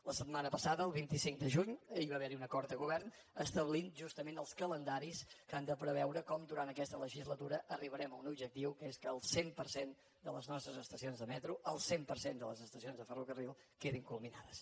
la setmana passada el vint cinc de juny hi va haver un acord de govern que establia justament els calendaris que han de preveure com durant aquesta legislatura arribarem a un objectiu que és que el cent per cent de les nostres estacions de metro el cent per cent de les estacions de ferrocarril quedin culminades